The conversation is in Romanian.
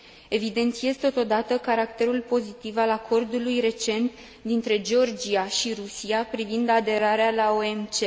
Evidențiez, totodată, caracterul pozitiv al acordului recent dintre Georgia și Rusia privind aderarea la OMC.